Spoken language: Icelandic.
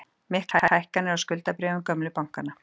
Miklar hækkanir á skuldabréfum gömlu bankanna